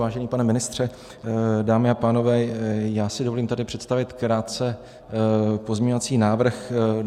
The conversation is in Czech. Vážený pane ministře, dámy a pánové, já si dovolím tady představit krátce pozměňovací návrh.